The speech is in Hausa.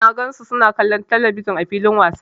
Na gan su suna kallon telebijin ã filin wasa.